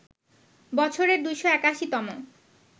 বছরের ২৮১ তম